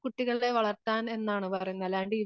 വളർത്താൻ എന്നാണ് പറയുന്നത് അല്ലാണ്ട്